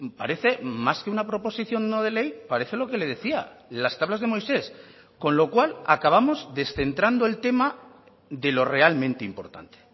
parece más que una proposición no de ley parece lo que le decía las tablas de moisés con lo cual acabamos descentrando el tema de lo realmente importante